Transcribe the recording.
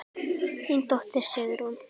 Þín dóttir, Sigrún.